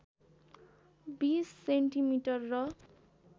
२० centimetre र